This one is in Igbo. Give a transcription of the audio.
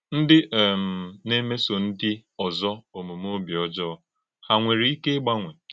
Ndí um na - èmèsò ndí òzò òmùmè òbí ọ́jọọ hà nwere ike ígbanwe?